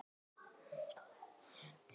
Er hann sagður hafa særst.